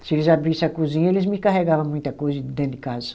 Se eles abrissem a cozinha, eles me carregava muita coisa de dentro de casa.